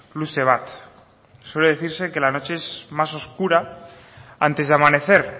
luze bat suele decirse que la noche es más oscura antes de amanecer